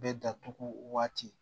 Bɛ datugu waati